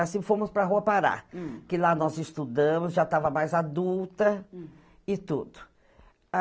Assim, fomos para a Rua Pará. Hm. Que lá nós estudamos, já estava mais adulta e tudo. Hm